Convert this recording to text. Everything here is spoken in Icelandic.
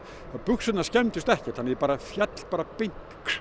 buxurnar skemmdust ekkert ég féll bara beint